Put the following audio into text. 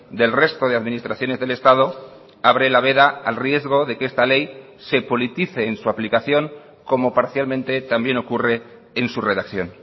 del resto de administraciones del estado abre la veda al riesgo de que esta ley se politice en su aplicación como parcialmente también ocurre en su redacción